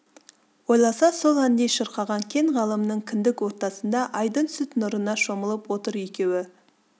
ойласа сол әндей шырқаған кең ғаламның кіндік ортасында айдың сүт нұрына шомылып отыр екеуі